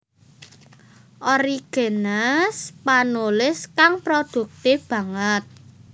Origenes panulis kang prodhuktif banget